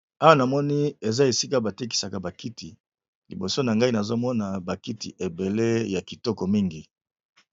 Awa na moni eza esika ba tekisaka ba kiti, liboso na ngai nazo mona ba kiti ebele ya kitoko mingi .